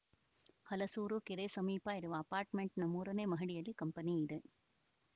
ಹಲಸೂರು ಕೆರೆ ಸಮೀಪ ಇರುವ ಅರ್ಪಾಟ್‌ಮೆಂಟ್‌ನ ಮೂರನೇ ಮಹಡಿಯಲ್ಲಿ ಕಂಪನಿ ಇದೆ